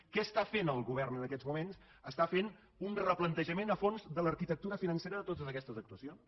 què està fent el govern en aquests moments està fent un replantejament a fons de l’arquitectura financera de totes aquestes actuacions